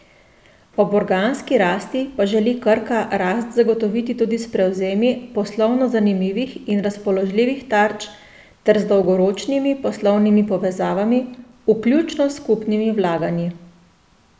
Ob organski rasti pa želi Krka rast zagotoviti tudi s prevzemi poslovno zanimivih in razpoložljivih tarč ter z dolgoročnimi poslovnimi povezavami, vključno s skupnimi vlaganji.